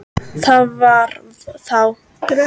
Það var þá!